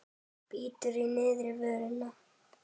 Bítur í neðri vörina.